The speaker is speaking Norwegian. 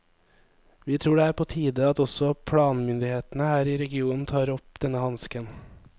Vi tror det er på tide at også planmyndighetene her i regionen tar opp denne hansken.